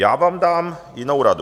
Já vám dám jinou radu.